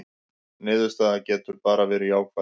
Niðurstaðan getur bara verið jákvæð